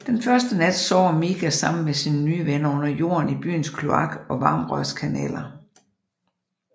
Den første nat sover Miga samme med sine nye venner under jorden i byens kloak og varmerørskanaler